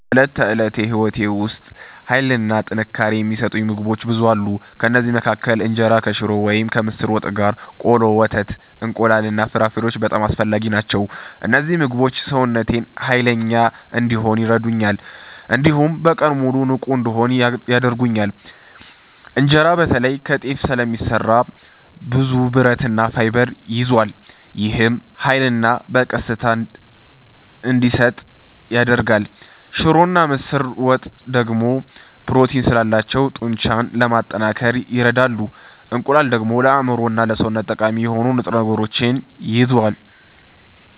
በዕለት ተዕለት ሕይወቴ ውስጥ ኃይልና ጥንካሬ የሚሰጡኝ ምግቦች ብዙ አሉ። ከእነዚህ መካከል እንጀራ ከሽሮ ወይም ከምስር ወጥ ጋር፣ ቆሎ፣ ወተት፣ እንቁላል እና ፍራፍሬዎች በጣም አስፈላጊ ናቸው። እነዚህ ምግቦች ሰውነቴን ኃይለኛ እንዲሆን ይረዱኛል፣ እንዲሁም በቀኑ ሙሉ ንቁ እንድሆን ያደርጉኛል። እንጀራ በተለይ ከጤፍ ስለሚሰራ ብዙ ብረትና ፋይበር ይዟል። ይህም ኃይልን በቀስታ እንዲሰጥ ያደርጋል። ሽሮና ምስር ወጥ ደግሞ ፕሮቲን ስላላቸው ጡንቻን ለማጠናከር ይረዳሉ። እንቁላል ደግሞ ለአእምሮና ለሰውነት ጠቃሚ የሆኑ ንጥረ ነገሮችን ይዟል።